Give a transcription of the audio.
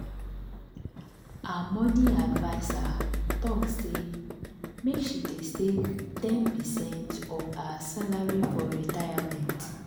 her money adviser talk say make she dey save ten percent of her salary for retirement.